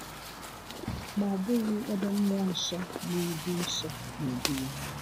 Ma ọ bụghị ebe Mmụọ Nsọ na-edu Nsọ na-edu Ya.